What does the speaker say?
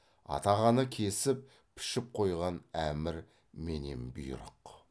атағаны кесіп пішіп қойған әмір менен бұйрық